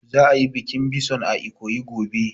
Za a yi bikin bison a Ikoyi gobe